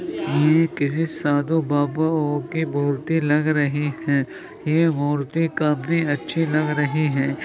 ये किसी साधु बाबाओ की मूर्ति लग रही हैं ये मूर्ति काफी अच्छी लग रही है।